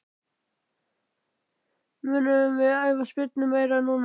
Munum við æfa spyrnurnar meira núna?